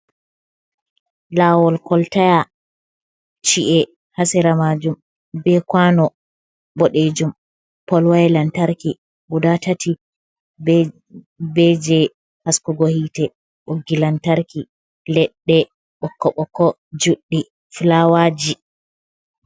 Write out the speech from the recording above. Lawol koltaya, ci’e hasira majum be kwano bodejum, polwaya lantarki guda tati be be je haskugo hite, boggi lantarki leɗɗe ɓokko-ɓokko juɗɗii fulawaji.